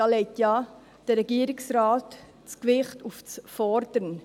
Darin legt ja der Regierungsrat das Gewicht auf das «Fordern».